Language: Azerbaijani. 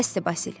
Bəsdir Basil.